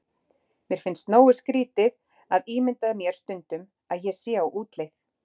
Mér finnst nógu skrýtið að ímynda mér stundum ég sé á útleið.